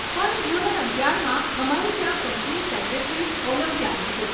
પણ ધોરણ અગિયારમાં અમારે ત્યાં કંપની સેક્રેટરીઝ ઓલિમ્પિયાડ હતું.